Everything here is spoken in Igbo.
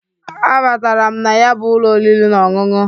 A batara m na ya bụ ụlọ oriri na ọṅụṅụ.